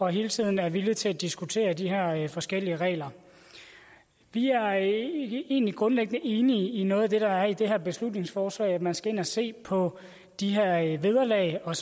hele tiden er villige til at diskutere de her forskellige regler vi er egentlig grundlæggende enige i noget af det der er i det her beslutningsforslag altså at man skal ind at se på de her vederlag og